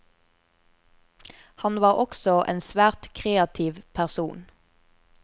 Han var også en svært kreativ person.